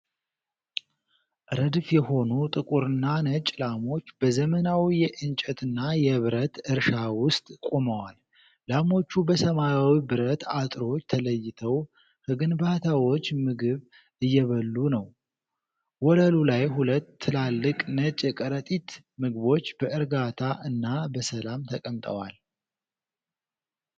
ረድፍ የሆኑ ጥቁርና ነጭ ላሞች በዘመናዊ የእንጨትና የብረት እርሻ ውስጥ ቆመዋል። ላሞቹ በሰማያዊ ብረት አጥሮች ተለይተው ከግንባታዎቹ ምግብ እየበሉ ነው። ወለሉ ላይ ሁለት ትላልቅ ነጭ የከረጢት ምግቦች በ እርጋታ እና በሰላም ተቀምጠዋል።